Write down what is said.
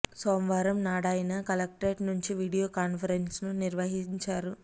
సోమవారం నాడా యన కలెక్టరేట్ నుంచి వీడియో కాన్ఫరెన్స్ను నిర్వహించా రు